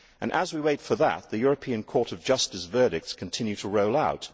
As we wait for that, the European Court of Justice's verdicts continue to roll out.